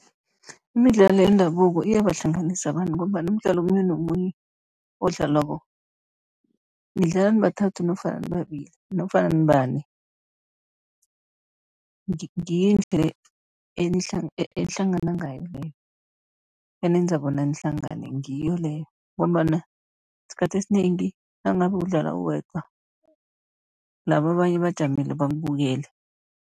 Imidlalo yendabuko iyabahlanganisa abantu, ngombana umdlalo omunye nomunye odlalwako nidlala nibathathu nofana nibabili, nofana nibane. Ngiyo enihlangana ngayo leyo, enenza bona nihlangane ngiyo leyo, ngombana isikhathi esinengi nangabe udlala uwedwa, laba abanye bajamile bakubukele.